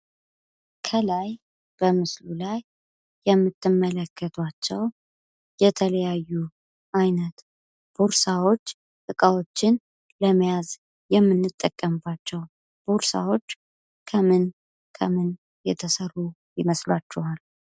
ከላይ በምስሉ ላይ የምትመለከቱአቸው የተለያዩ አይነት ቦርሳዎች እቃዎችን ለመያዝ የምንጠቀምባቸው ቦርሳዎች ከምን ከምን የተሰሩ ይመስላችኋል?